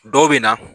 Dɔw bɛ na